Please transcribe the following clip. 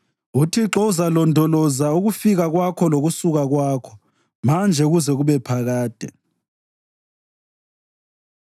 uThixo uzalondoloza ukufika kwakho lokusuka kwakho manje kuze kube phakade.